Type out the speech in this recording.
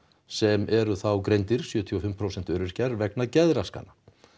sem eru þá greindir sjötíu og fimm prósent öryrkjar vegna geðraskana